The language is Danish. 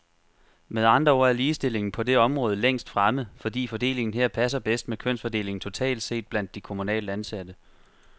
Med andre ord er ligestillingen på det område længst fremme, fordi fordelingen her passer bedst med kønsfordelingen totalt set blandt de kommunalt ansatte.